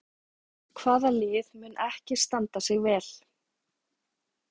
Hvaða lið mun ekki standa sig vel?